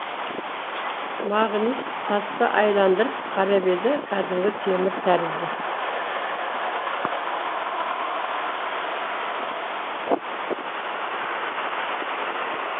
мағнис тасты айналдырып қарап еді кәдімгі темір тәрізді